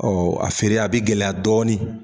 Ɔ a feere a bi gɛlɛya dɔɔni